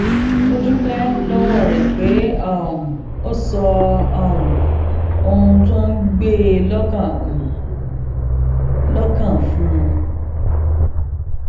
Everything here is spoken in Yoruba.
ó dúpé lówó rè pé um ó sọ um ohun tó ń gbé e lókàn e lókàn fún un